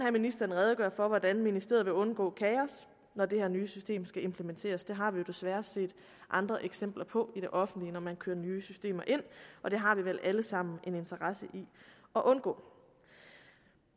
at ministeren redegør for hvordan ministeriet vil undgå kaos når det her nye system skal implementeres det har vi jo desværre set andre eksempler på i det offentlige når man kører nye systemer ind og det har vi vel alle sammen en interesse i at undgå